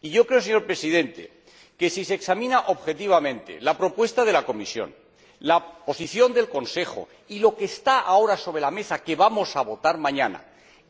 Y yo creo, señor Presidente, que si se examinan objetivamente la propuesta de la Comisión, la posición del Consejo y lo que está ahora sobre la mesa ―que vamos a votar mañana―,